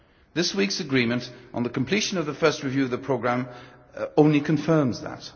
This week's agreement on the completion of the first review of the programme only confirms that.